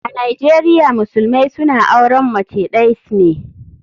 A nijeria musulumai suna auren mace days ne.